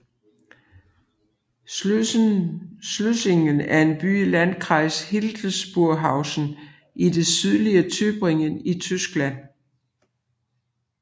Schleusingen er en by i Landkreis Hildburghausen i det sydlige Thüringen i Tyskland